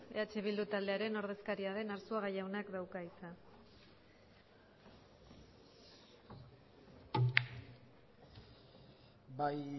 eh bildu taldearen ordezkaria den arzuaga jaunak dauka hitza bai